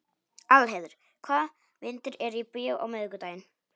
Aðalheiður, hvaða myndir eru í bíó á miðvikudaginn?